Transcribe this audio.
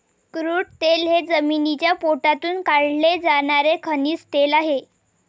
Crude तेल हे जमिनीच्या पोटातून काढले जाणारे खनिज तेल आहे.